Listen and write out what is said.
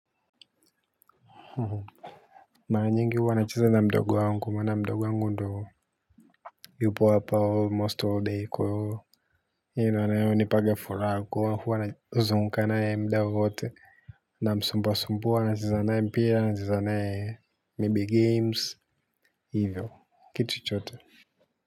Mara nyingi huwa nacheza na mdogo wangu maana mdogo wangu ndo yupo hapa almost all day kwa hivo yeye ndo hunipanga furaha huwa nazunguka na yeye muda wowote namsubua subua nacheza naye mpira naye maybe games hivyo kitu chochote.